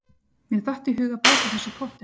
Mér datt í hug að bæta þessu í pottinn.